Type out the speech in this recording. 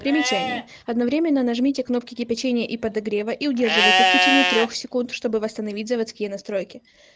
примечание одновременно нажмите кнопки кипячения и подогрева и удерживайте в течение трёх секунд чтобы восстановить заводские настройки